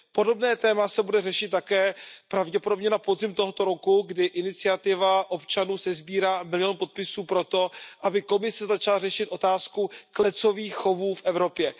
Podobné téma se bude řešit také pravděpodobně na podzim tohoto roku, kdy iniciativa občanů sesbírá milion podpisů pro to, aby Komise začala řešit otázku klecových chovů v Evropě.